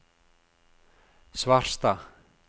Svarstad